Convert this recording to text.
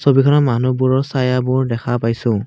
দুজন মানুহবোৰৰ ছায়াবোৰ দেখা পাইছোঁ।